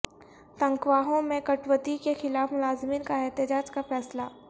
تنخواہوں میں کٹوتی کے خلاف ملازمین کا احتجاج کا فیصلہ